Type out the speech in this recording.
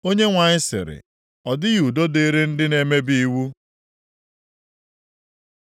Onyenwe anyị sịrị, “Ọ dịghị udo dịrị ndị na-emebi iwu.”